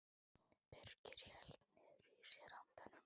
Birkir hélt niðri í sér andanum.